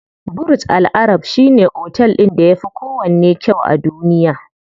Burj Al arab shine otel ɗin da yafi kowanne kyau a duniya.